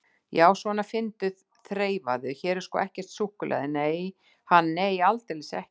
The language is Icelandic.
Já, svona, finndu, þreifaðu, hér er sko ekkert súkkulaði, ha, nei, aldeilis ekki.